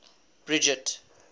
bridget